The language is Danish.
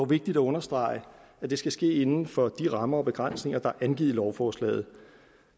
vigtigt at understrege at det skal ske inden for de rammer og begrænsninger der er angivet i lovforslaget